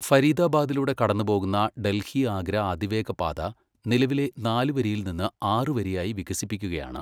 ഫരീദാബാദിലൂടെ കടന്നുപോകുന്ന ഡൽഹി, ആഗ്ര അതിവേഗപാത നിലവിലെ നാലുവരിയിൽ നിന്ന് ആറുവരിയായി വികസിപ്പിക്കുകയാണ്.